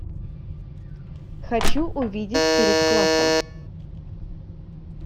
хочу увидеть перед классом